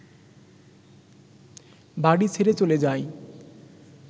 বাড়ি ছেড়ে চলে যায়